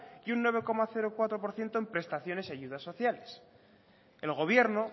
y un nueve coma cuatro por ciento en prestaciones y ayudas sociales el gobierno